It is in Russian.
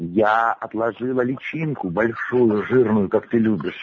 я отложила личинку большую жирную как ты любишь